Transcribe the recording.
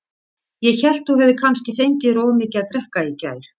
Ég hélt þú hefðir kannski fengið þér of mikið að drekka í gær.